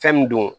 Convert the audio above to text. Fɛn min don